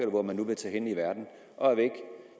hvor man nu vil tage hen i verden og er væk